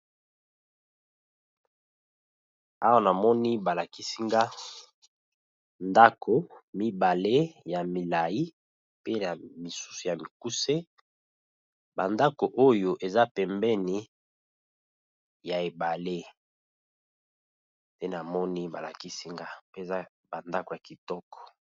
Awa namoni ba lakisi nga ndako mibale ya milai pe ya misusu ya mikuse, ba ndako oyo eza pembeni ya ebale pe namoni ba lakisi nga mpe eza ba ndako ya kitoko.